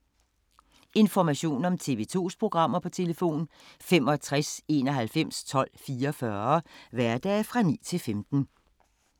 Information om TV 2's programmer: 65 91 12 44, hverdage 9-15.